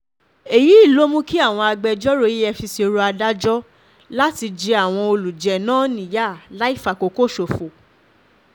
èyí ló mú kí àwọn agbẹjọ́rò efcc rọ um adájọ́ láti jẹ àwọn um olùjẹ́ náà níyà láì fàkókò ṣòfò